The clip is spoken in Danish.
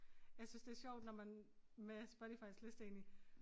Jeg synes det sjovt når man med Spotifys liste egentlig